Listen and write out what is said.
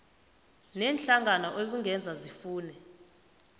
neenhlangano ekungenzeka sifune